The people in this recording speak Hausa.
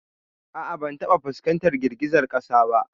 A'a ban taba fuskantar girgizar kasa ba.